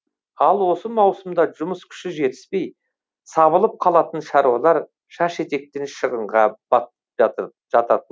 ал осы маусымда жұмыс күші жетіспей сабылып қалатын шаруалар шаш етектен шығынға жататын